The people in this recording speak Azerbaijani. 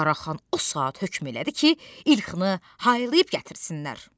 Qaraxan o saat hökm elədi ki, İlkhını haylayıb gətirsinlər.